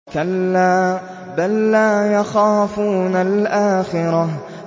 كَلَّا ۖ بَل لَّا يَخَافُونَ الْآخِرَةَ